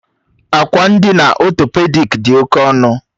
Akwa ndina ọtọpedik dị oke ọnụ